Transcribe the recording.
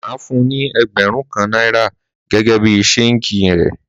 Má fún ni ẹẹgbarun kan naira gẹgẹ bí sègin rẹ